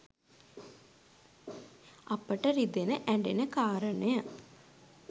අපිට රිදෙන ඇ‍ඬෙන කාරණය